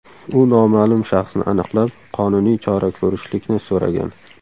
U noma’lum shaxsni aniqlab, qonuniy chora ko‘rishlikni so‘ragan.